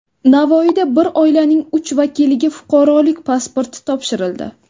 Navoiyda bir oilaning uch vakiliga fuqarolik pasporti topshirildi.